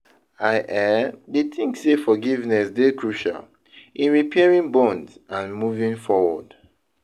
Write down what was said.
i um dey think say forgiveness dey crucial in repairing bonds and moving forward.